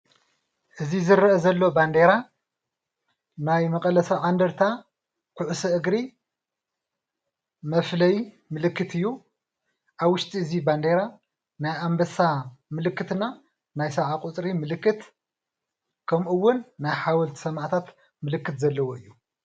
እዚ ዝረአ ዘሎ ባንደራ ናይ መቐለ ሰብዓ እንድርታ ኩዕሶ እግሪ መፍለይ ምልክት እዩ፡፡ ኣብ ውሽጢ እዚ በንደራ ናይ ኣንበሳ ምልክት እና ናይ ሰብዓ ቁፅሪ ምልክት ከምኡ እውን ናይ ሓወልቲ ሰማእታት ምልክት ዘለዎ እዩ፡፡